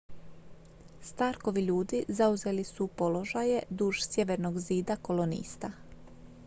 starkovi ljudi zauzeli su položaje duž sjevernog zida kolonista